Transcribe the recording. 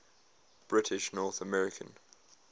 british north american